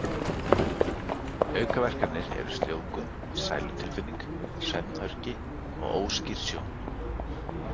Aukaverkanir eru sljóvgun, sælutilfinning, svefnhöfgi og óskýr sjón.